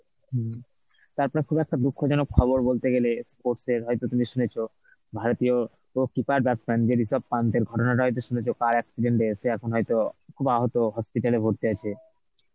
হম তারপরে খুব একটা দুঃখজনক খবর বলতে গেলে sports এর হয়তো তুমি শুনেছ ভারতীয় pro keeper batsman যে রিশপ পান্থের ঘটনাটা হয়তো শুনেছ car accident হয়ে সে এখন হয়তো খুব আহত, hospital এ ভর্তি আছে.